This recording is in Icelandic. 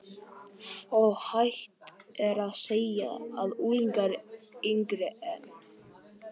Óhætt er að segja að unglingar yngri en